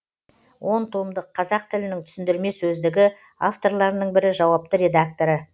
он томдық қазақ тілінің түсіндірме сөздігі авторларының бірі жауапты редакторы